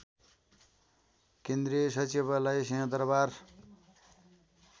केन्द्रीय सचिवालय सिहंदरबार